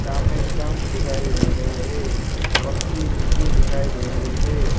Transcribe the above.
सामने स्टंप दिखाई दे रहे हैं पक्की मिट्टी दिखाई दे रही है।